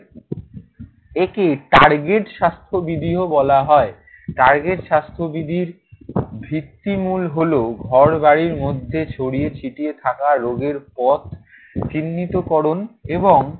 একে target স্বাস্থ্যবিধিও বলা হয়। target স্বাস্থ্যবিধির ভিত্তিমূল হলো ঘরবাড়ির মধ্যে ছড়িয়ে ছিটিয়ে থাকা রোগের পথ চিহ্নিতকরণ এবং